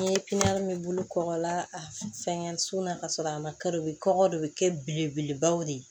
N ye min bolo kɔgɔ la fɛngɛ sun na ka sɔrɔ a ma kari u bɛ kɔgɔ de bɛ kɛ belebelebaw de ye